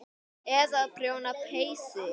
Eða prjóna peysur.